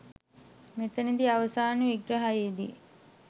මෙතනදී අවසාන විග්‍රහයේ දී